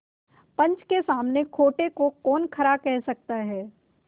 पंच के सामने खोटे को कौन खरा कह सकता है